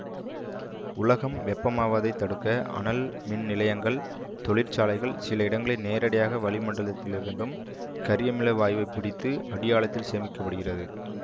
உலகம் வெப்பமாவதைத் தடுக்க அனல் மின் நிலையங்கள் தொழிற்சாலைகள் சில இடங்களில் நேரடியாக வளிமண்டலத்திலிருந்தும் கரியமிலவாயுவைப் பிடித்து அடியாழத்தில் சேமிக்க படுகிறது